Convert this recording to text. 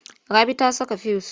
Rabi ta saka fuyus.